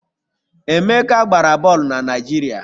Emeka gbara bọọlụ na Naịjirịa